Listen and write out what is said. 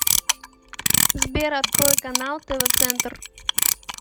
сбер открой канал тв центр